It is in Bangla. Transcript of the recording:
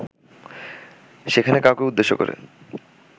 সেখানে কাউকে উদ্দেশ্যে করে